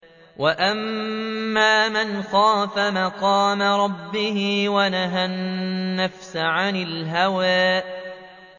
وَأَمَّا مَنْ خَافَ مَقَامَ رَبِّهِ وَنَهَى النَّفْسَ عَنِ الْهَوَىٰ